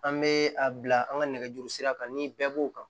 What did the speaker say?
An bɛ a bila an ka nɛgɛjuru sira kan ni bɛɛ b'o kan